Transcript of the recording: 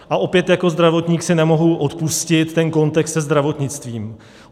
A opět jako zdravotník si nemohu odpustit ten kontext se zdravotnictvím.